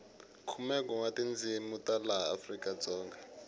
khumenwe wa tindzini ta laha afrikadzonga